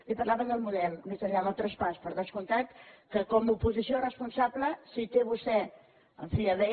i parlava del model més enllà del traspàs per descomptat que com a oposició responsable si té vostè en fi a bé